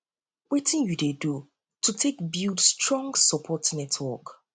wetin you dey do to take build strong support network